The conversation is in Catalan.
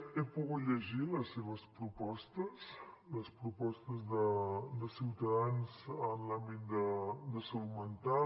he pogut llegir les seves propostes les propostes de ciutadans en l’àmbit de salut mental